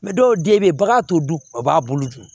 dɔw den bɛ yen bagan t'o dun a b'a bolo dun